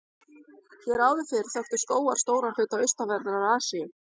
Hér áður fyrr þöktu skógar stóran hluta austanverðrar Asíu.